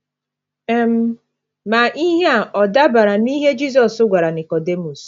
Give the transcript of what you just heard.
um Ma, ihe a ọ̀ dabara n’ihe Jizọs gwara Nikọdimọs?